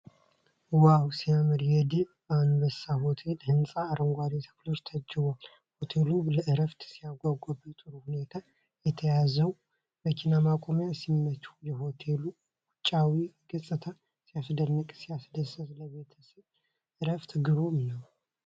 ዋው ሲያምር! የደብ አንበሳ ሆቴል ህንጻ አረንጓዴ ተክሎች ታጅቧል። ሆቴሉ ለዕረፍት ሲያጓጓ! በጥሩ ሁኔታ የተያዘው መኪና ማቆሚያ ሲመች! የሆቴሉ ውጫዊ ገጽታ ሲያስደንቅ! ሲያስደስት ለቤተሰብ ዕረፍት ግሩም ነው!